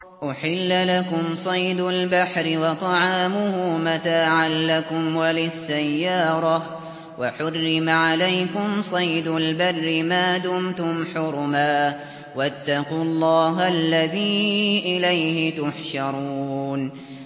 أُحِلَّ لَكُمْ صَيْدُ الْبَحْرِ وَطَعَامُهُ مَتَاعًا لَّكُمْ وَلِلسَّيَّارَةِ ۖ وَحُرِّمَ عَلَيْكُمْ صَيْدُ الْبَرِّ مَا دُمْتُمْ حُرُمًا ۗ وَاتَّقُوا اللَّهَ الَّذِي إِلَيْهِ تُحْشَرُونَ